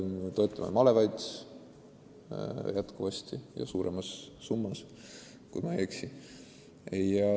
Me toetame endiselt malevaid ja suuremas summas, kui ma ei eksi.